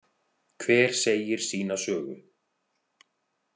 Hver segir sína sögu.